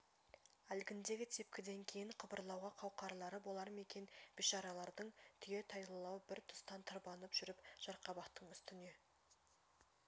әлгіндегі тепкіден кейін қыбырлауға қауқарлары болар ма екен бейшаралардың түйетайлылау бір тұстан тырбанып жүріп жарқабақтың үстіне